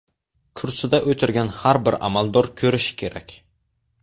Kursida o‘tirgan har bir amaldor ko‘rishi kerak.